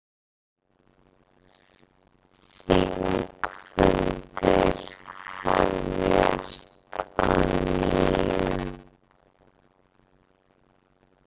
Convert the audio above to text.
Þingfundir hefjast að nýju